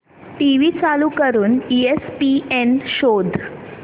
TV चालू करून ESPN शोध